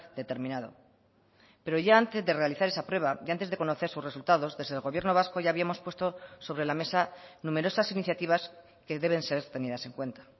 determinado pero ya antes de realizar esa prueba y antes de conocer sus resultados desde el gobierno vasco ya habíamos puesto sobre la mesa numerosas iniciativas que deben ser tenidas en cuenta